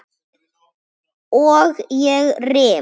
Og ég rym.